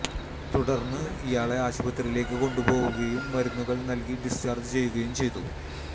തുടർന്ന് ഇയാളെ ആശുപത്രിയിലേക്ക് കൊണ്ടുപോവുകയും മരുന്നുകൾ നൽകി ഡിസ്ചാർജ് ചെയ്യുകയും ചെയ്തു